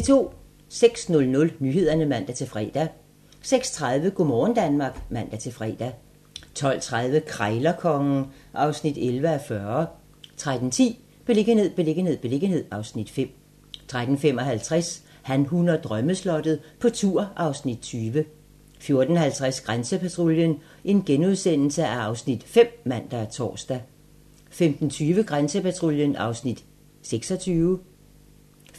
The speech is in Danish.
06:00: Nyhederne (man-fre) 06:30: Go' morgen Danmark (man-fre) 12:30: Krejlerkongen (11:40) 13:10: Beliggenhed, beliggenhed, beliggenhed (Afs. 5) 13:55: Han, hun og drømmeslottet - på tur (Afs. 20) 14:50: Grænsepatruljen (Afs. 5)*(man og tor) 15:20: Grænsepatruljen (Afs. 26)